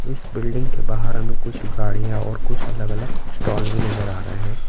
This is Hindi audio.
इस बिल्डिंग के बाहर हमें कुछ गाड़ियाँ और कुछ अलग-अलग स्टॉल भी नजर आ रहे हैं।